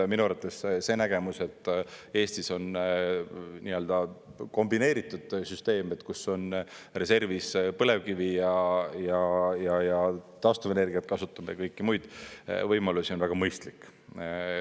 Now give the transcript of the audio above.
Ja minu arvates see nägemus, et Eestis on nii-öelda kombineeritud süsteem, kus on reservis põlevkivi ja taastuvenergiat kasutame ja kõiki muid võimalusi, on väga mõistlik.